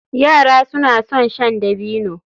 Yara suna son shan dabino.